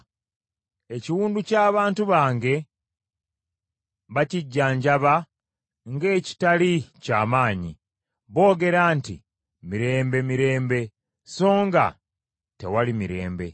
Ekiwundu ky’abantu bange bakijjanjaba ng’ekitali ky’amaanyi. Boogera nti, ‘Mirembe, mirembe.’ So nga tewali mirembe.